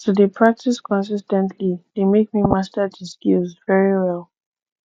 to de practice consis ten tly de make me master di skills very well